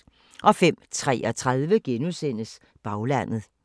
05:33: Baglandet *